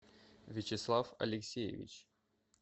вячеслав алексеевич